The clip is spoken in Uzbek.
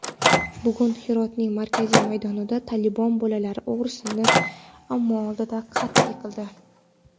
Bugun Hirotning markaziy maydonida "Tolibon" bolalar o‘g‘risini omma oldida qatl qildi.